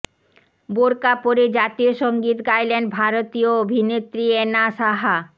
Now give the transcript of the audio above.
বোরকা পরে জাতীয় সংগীত গাইলেন ভারতীয় অভিনেত্রী এনা সাহা